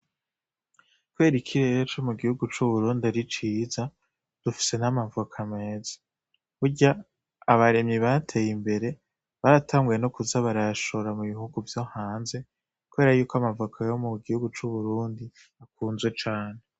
Kubera ikirere co mu gihugu c'Uburundi ari ciza, dufise n'amavoka meza. Burya abarimyi bateye imbere baratanguye no kuza barayashora mu bihugu vyo hanze kubera yuko amavoka yo mu gihugu c'Uburundi akunzwe cane.